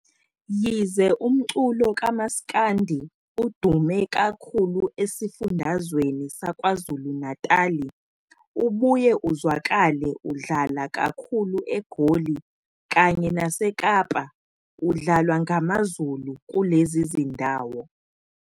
Yize umculo kaMaskandi udume kakhulu esifundazweni saKwaZulu-Natali ubuye uzwakale udlala kakhulu eGoli kanye naseKapa udlalwa ngamaZulu kulezi zindawo.